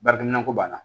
Baarakɛ minɛn ko b'a la